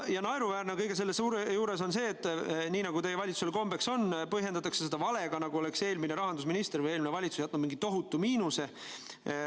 Naeruväärne on kõige selle juures see, et nii nagu valitsusel kombeks on, põhjendatakse seda valega, nagu oleks eelmine rahandusminister või eelmine valitsus jätnud mingi tohutu miinuse.